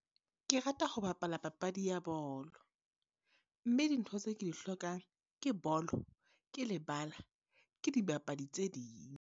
Ke rata ho bapala papadi ya bolo. Mme dintho tse ke di hlokang, ke bolo, ke lebala, ke dibapadi tse ding.